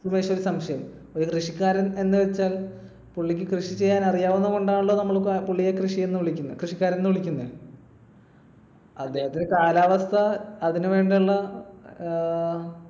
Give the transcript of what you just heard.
സുമേഷ് ഒരു സംശയം. ഒരു കൃഷിക്കാരൻ എന്നുവെച്ചാൽ പുള്ളിക്ക് കൃഷി ചെയ്യാൻ അറിയാവുന്നതു കൊണ്ടാണല്ലോ നമ്മൾ പുള്ളിയെ കൃഷി എന്ന് വിളിക്കുന്നത് ~ കൃഷിക്കാരൻ എന്ന് വിളിക്കുന്നെ. അദ്ദേഹത്തിന് കാലാവസ്ഥ അതിനു വേണ്ടുള്ള അഹ്